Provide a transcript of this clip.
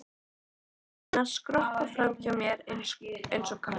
Læt hróp hennar skoppa fram hjá mér einsog knött.